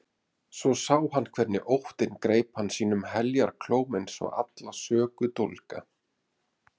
Svo sá hann hvernig óttinn greip hana sínum heljarklóm eins og alla sökudólga.